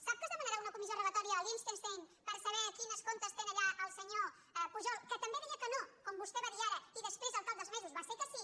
sap que es demanarà una comissió rogatòria a liechtenstein per saber quins comptes té allà el senyor pujol que també deia que no com vos·tè dirà ara i després al cap dels mesos va ser que sí